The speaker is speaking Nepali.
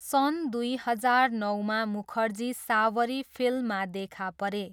सन् दुई हजार नौमा मुखर्जी सावरी फिल्ममा देखा परे।